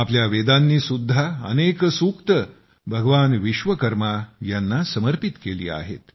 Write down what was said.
आपल्या वेदांनीसुद्धा अनेक सूक्ते भगवान विश्वकर्मा यांना समर्पित केली आहेत